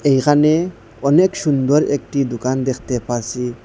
এখানে অনেক সুন্দর একটি দুকান দেকতে পারসি।